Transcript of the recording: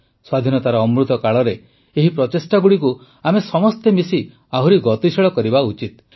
ସ୍ୱାଧୀନତାର ଅମୃତ କାଳରେ ଏହି ପ୍ରଚେଷ୍ଟାଗୁଡ଼ିକୁ ଆମେ ସମସ୍ତେ ମିଶି ଆହୁରି ଗତିଶୀଳ କରିବା ଉଚିତ